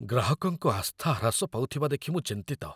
ଗ୍ରାହକଙ୍କ ଆସ୍ଥା ହ୍ରାସ ପାଉଥିବା ଦେଖି ମୁଁ ଚିନ୍ତିତ।